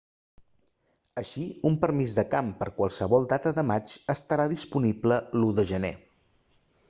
així un permís de camp per a qualsevol data de maig estarà disponible l'1 de gener